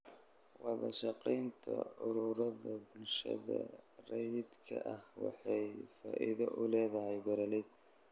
Wadashaqeynta ururada bulshada rayidka ah waxay faa'iido u leedahay beeralayda.